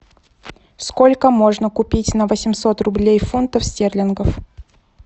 сколько можно купить на восемьсот рублей фунтов стерлингов